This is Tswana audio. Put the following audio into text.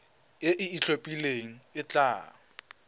e e itlhophileng e tla